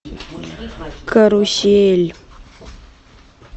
карусель